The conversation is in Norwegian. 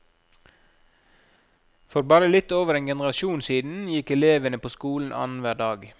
For bare litt over en generasjon siden gikk elevene på skolen annenhver dag.